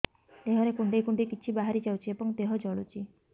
ଦେହରେ କୁଣ୍ଡେଇ କୁଣ୍ଡେଇ କିଛି ବାହାରି ଯାଉଛି ଏବଂ ଦେହ ଜଳୁଛି